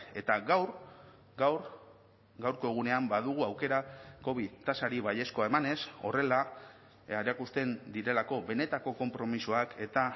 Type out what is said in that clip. eta gaur gaur gaurko egunean badugu aukera covid tasari baiezkoa emanez horrela erakusten direlako benetako konpromisoak eta